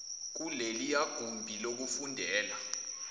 kuleliya gumbi lokufundela